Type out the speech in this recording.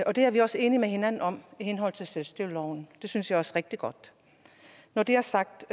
og det er vi også enige med hinanden om i henhold til selvstyreloven det synes jeg også er rigtig godt når det er sagt